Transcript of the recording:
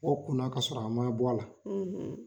O kunna ka sɔrɔ a ma bɔ a la,